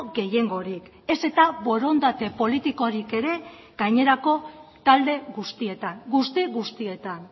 gehiengorik ez eta borondate politikorik ere gainerako talde guztietan guzti guztietan